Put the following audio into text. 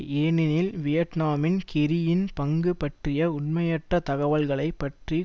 ஏனெனில் வியட்நாமின் கெர்ரியின் பங்கு பற்றிய உண்மையற்ற தகவல்களை பற்றி